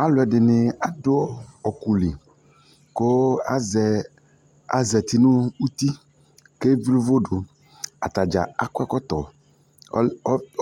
Alu ɛdini adu ɔkɔli ku azati nu uti ku evli uvʊdʊ atadza aƙɔ ɛkɔtɔ